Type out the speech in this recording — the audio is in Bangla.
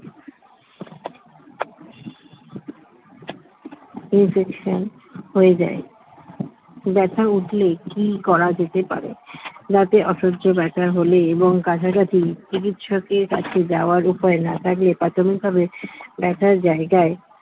infection হয়ে যায় ব্যথা উঠলেই কি করা যেতে পারে দাঁতে অসহ্য ব্যথা হলে এবং কাছাকাছি চিকিৎসকের কাছে যাওয়ার উপায় না থাকলে প্রাথমিকভাবে ব্যথার জায়গায়